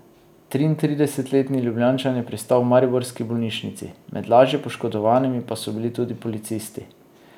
Triintridesetletni Ljubljančan je pristal v mariborski bolnišnici, med lažje poškodovanimi pa so bili tudi policisti.